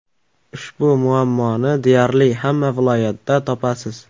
Ushbu muammoni deyarli hamma viloyatda topasiz.